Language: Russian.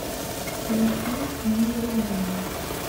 включи не временно